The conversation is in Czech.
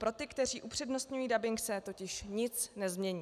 Pro ty, kteří upřednostňují dabing, se totiž nic nezmění.